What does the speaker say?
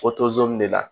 de la